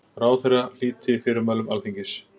Ráðherra hlíti fyrirmælum Alþingis